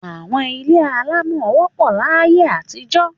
Àwọn ilé alámọ̀ wọ́pọ̀ láyé àtijọ́.